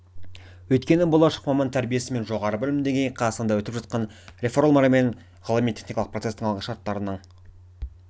өйткені болашақ маман тәрбиесі мен жоғары білім деңгейі қазақстанда өтіп жатқан реформалар мен ғылыми техникалық процестің алғы шарттарының